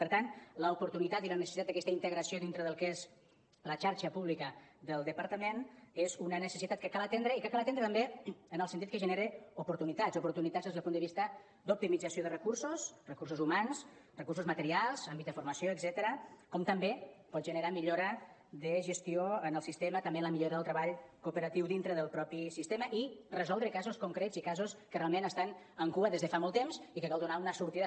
per tant l’oportunitat i la necessitat d’aquesta integració dintre del que és la xarxa pública del departament és una necessitat que cal atendre i que cal atendre també en el sentit que genera oportunitats oportunitats des del punt de vista d’optimització de recursos recursos humans recursos materials àmbit de formació etcètera com també pot generar millora de gestió en el sistema també en la millora del treball cooperatiu dintre del mateix sistema i resoldre casos concrets i casos que realment estan en cua des de fa molt temps i que hi cal donar una sortida